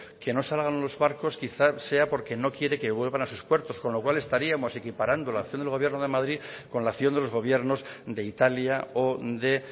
que no salgan los barcos quizás sea porque no quieren que vuelvan a sus puertos con lo cual estaríamos equiparando la acción del gobierno de madrid con la acción de los gobiernos de italia o de